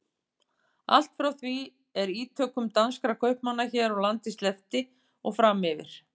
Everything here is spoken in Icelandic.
Allt frá því er ítökum danskra kaupmanna hér á landi sleppti og fram yfir